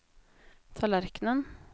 tallerkenen